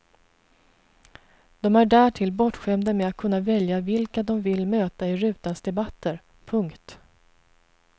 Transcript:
De är därtill bortskämda med att kunna välja vilka de vill möta i rutans debatter. punkt